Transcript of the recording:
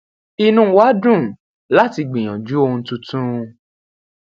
inú wa dùn láti gbìyànjú ohun tuntun